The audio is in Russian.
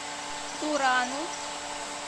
турану